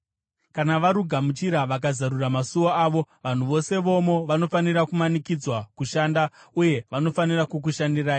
Kana varugamuchira vakazarura masuo avo, vanhu vose vomo vanofanira kumanikidzwa kushanda uye vanofanira kukushandirai.